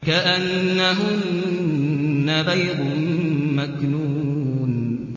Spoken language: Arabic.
كَأَنَّهُنَّ بَيْضٌ مَّكْنُونٌ